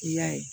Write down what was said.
I y'a ye